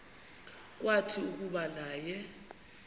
kwathi kuba naye